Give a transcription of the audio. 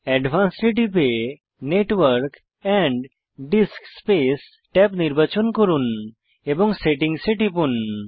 advanced এ টিপে network disk space tab নির্বাচন করুন এবং সেটিংস এ টিপুন